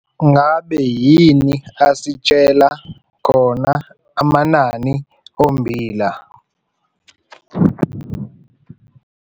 Ngabe yini asitshela khona amanani ommbila?